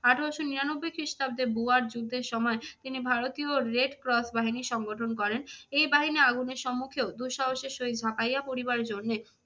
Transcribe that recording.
আঠেরোশো নিরানব্বই খ্রিস্টাব্দে বুয়ার যুদ্ধের সময় তিনি ভারতীয় রেড ক্রস বাহিনী সংগঠন করেন। এই বাহিনী আগুনের সম্মুখেও দুঃসাহসের সহিত ঝাপাইয়া পরিবার জন্যে